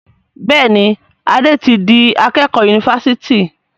Béèni Ade tí dì akékò Yunifásitì.